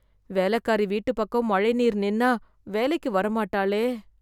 வேலைக்காரி வீட்டு பக்கம் மழைநீர் நின்னா வேலைக்கு வரமாட்டாளே.